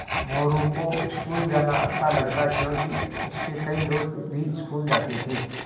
मोरू को स्कूल जाना अच्छा लगता क्योंकि उसके कई दोस्त भी स्कूल जाते थे